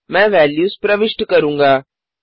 मैं वेल्यूज प्रविष्ट करूँगा